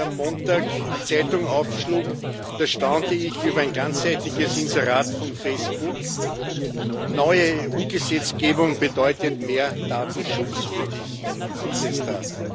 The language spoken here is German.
Als ich am Montag die Zeitung aufschlug, da staunte ich über ein ganzseitiges Inserat von Facebook Neue EU-Gesetzgebung bedeutet mehr Datenschutz für dich, hieß es da.